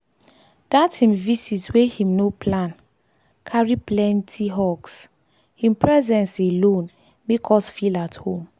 dat him vist wey him no plan carry plenty hugshim presence alone make us feel at home.